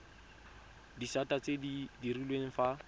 disata tse di direlwang fa